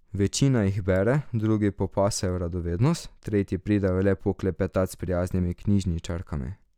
Večina jih bere, drugi popasejo radovednost, tretji pridejo le poklepetat s prijaznimi knjižničarkami.